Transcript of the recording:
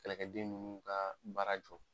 Kɛlɛkɛden ninnu ka baara jɔ.